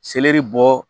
Seleri bɔ